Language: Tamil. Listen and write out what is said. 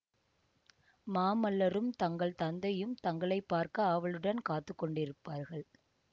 மாமல்லரும் தங்கள் தந்தையும் தங்களை பார்க்க ஆவலுடன் காத்து கொண்டிருப்பார்கள்